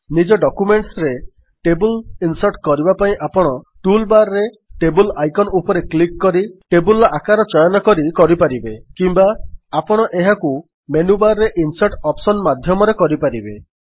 ନିଜ ଡକ୍ୟୁମେଣ୍ଟସ୍ ରେ table insert କରିବା ପାଇଁ ଆପଣ ଟୁଲ୍ ବାର୍ ରେ ଟେବଲ୍ ଆଇକନ୍ ଉପରେ କ୍ଲିକ୍ କରି ଟେବଲ୍ ର ଆକାର ଚୟନକରି କରିପାରିବେ କିମ୍ୱା ଆପଣ ଏହାକୁ ମେନ୍ୟୁବାର୍ ରେ ଇନସର୍ଟ ଅପ୍ସନ୍ ମାଧ୍ୟମରେ କରିପାରିବେ